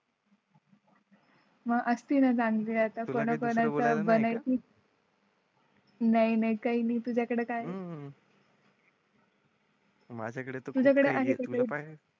मग असती ना चांगली आता जाण्या चा कोणा चं बनवायची नाही नाही काही नाही तुझ्याकडे कायम. माझ्याकडे